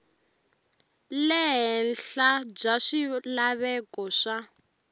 le henhla bya swilaveko swa